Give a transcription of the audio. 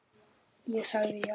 Ég sagði já.